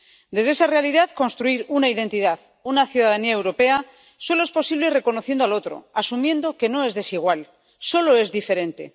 Desde esa realidad, construir una identidad, una ciudadanía europea, solo es posible reconociendo al otro, asumiendo que no es desigual solo es diferente.